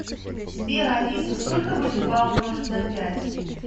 сбер алиса сколько будет два умножить на пять